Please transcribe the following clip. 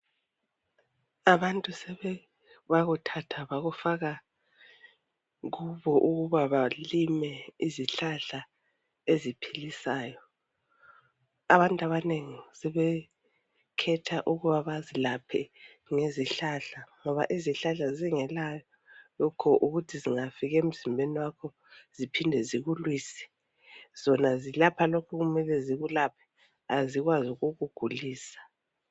Abantu sebakuthatha bakufaka kubo ukuba balime izihlahla eziphilisayo. Abantu abanengi sebekhetha ukuba bazilaphe ngezihlahla ngoba izihlahla zingela lokho ukuthi zingafika emzimbeni wakho ziphinde zikulwise. Zona zilapha lokho okumele zikulaphe azikwazi ukukugulisa.